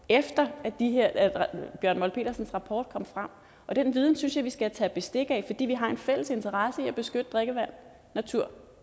efter at bjørn molt petersens rapport kom frem og den viden synes jeg vi skal tage bestik af fordi vi har en fælles interesse i at beskytte drikkevand natur